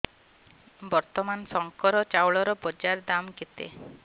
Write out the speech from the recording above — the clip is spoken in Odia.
ବର୍ତ୍ତମାନ ଶଙ୍କର ଚାଉଳର ବଜାର ଦାମ୍ କେତେ